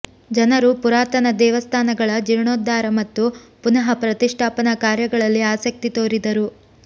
ಜನರು ಪುರಾತನ ದೇವಸ್ಥಾನಗಳ ಜೀರ್ಣೋದ್ಧಾರ ಮತ್ತು ಪುನಃ ಪ್ರತಿಷ್ಠಾಪನಾ ಕಾರ್ಯಗಳಲ್ಲಿ ಆಸಕ್ತಿ ತೋರಿದರು